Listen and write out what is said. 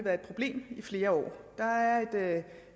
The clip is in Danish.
været et problem i flere år der er et